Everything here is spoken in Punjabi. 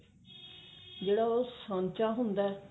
ਜਿਹੜਾ ਉਹ ਸਾਂਚਾ ਹੁੰਦਾ